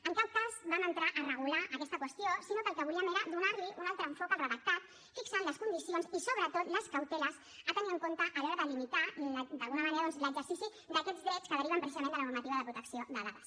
en cap cas vam entrar a regular aquesta qüestió sinó que el que volíem era donar li un altre enfocament al redactat fixant les condicions i sobretot les cauteles a tenir en compte a l’hora de limitar d’alguna manera doncs l’exercici d’aquests drets que deriven precisament de la normativa de protecció de dades